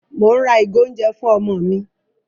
Mò ń ra ìgò oúnjẹ fún ọmọ mi.